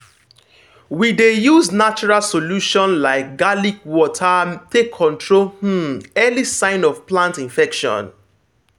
we dey use natural solution like garlic water take control um early sign of plant infection.